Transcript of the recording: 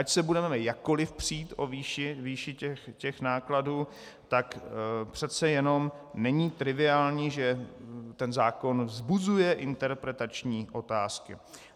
Ať se budeme jakkoli přít o výši těch nákladů, tak přece jenom není triviální, že ten zákon vzbuzuje interpretační otázky.